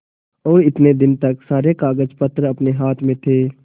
और इतने दिन तक सारे कागजपत्र अपने हाथ में थे